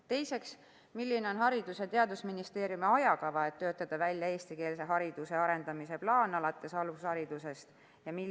Teiseks: milline on Haridus- ja Teadusministeeriumi ajakava, et töötada välja eestikeelse hariduse arendamise plaan alates alusharidusest?